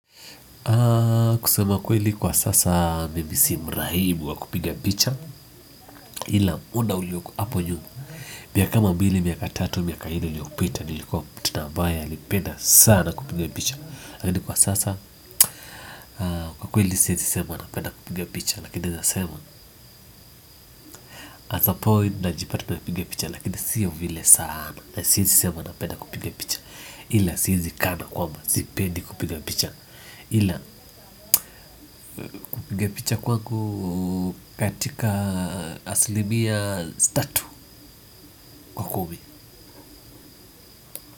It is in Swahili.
Kusema kweli kwa sasa mimi si mrahibu wa kupiga picha ila muda uliokuwa hapo nyuma miaka kama mbili, miaka tatu, miaka nne iliopita nilikuwa mtu na ambaye alipenda sana kupiga picha lakini kwa sasa kwa kweli siwezi sema napenda kupiga picha lakini nasema asapoi najipata na piga picha lakini siyo vile sana na siwezi sema napenda kupiga picha ila siwezi kana kwamba, sipendi kupiga picha ila kupiga picha kwangu katika asilimia tatu kwa kumi.